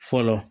Fɔlɔ